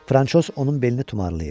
Franşoz onun belini tumarlayır.